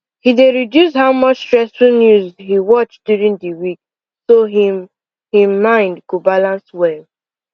he dey reduce how much stressful news he watch during the week so him him mind go balance well